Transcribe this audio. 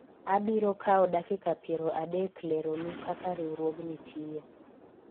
abiro kawo dakika piero adek lero nu kaka riwruogni tiyo